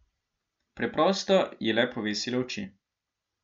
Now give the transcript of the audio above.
Preprosto je le povesila oči.